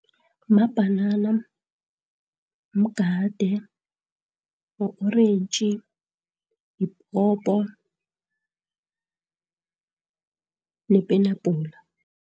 Mabhanana, mgade, ma-orentji, yipopo nepenapula.